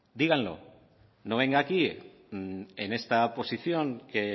díganlo no venga aquí en esta posición que